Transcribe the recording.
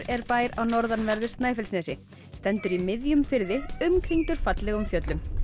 er bær á norðanverðu Snæfellsnesi stendur í miðjum firði umkringdur fallegum fjöllum